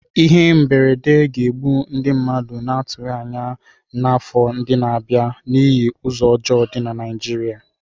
Ihe mberede ga-egbu ndụ mmadụ na-atụghị anya ya n'afọ ndị na-abịa n'ihi ụzọ ọjọọ dị na Naịjirịa.